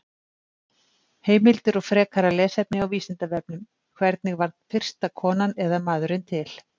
Heimildir og frekara lesefni á Vísindavefnum: Hvernig varð fyrsta konan eða maðurinn til?